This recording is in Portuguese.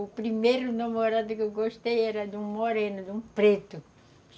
O primeiro namorado que eu gostei era de um moreno, de um preto.